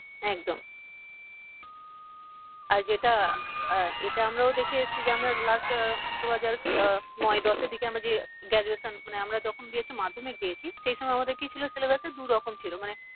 একদম আর যেটা আহ এটা আমরাও দেখে এসছি যে আমরা last আহ দুহাজার আহ নয় দশের দিকে আমরা যে graduation মানে আমরা যখন দিয়েছি মাধ্যমিক দিয়েছি সেই সময় আমাদের কি ছিল syllabus এ দু রকম ছিল মানে